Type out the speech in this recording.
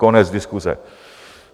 Konec diskuse.